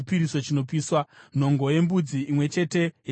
nhongo yembudzi imwe chete yechipiriso chechivi;